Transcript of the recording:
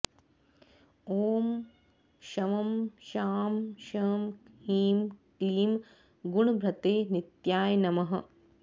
ॐ शं शां षं ह्रीं क्लीं गुणभृते नित्याय नमः